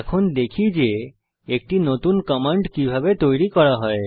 এখন দেখি যে একটি নতুন কমান্ড কিভাবে তৈরি করা হয়